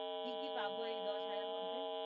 কি কি পাবো এই দশ হাজারের মধ্যে